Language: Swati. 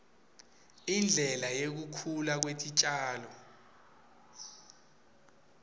indlela yekukhula kwetitjalo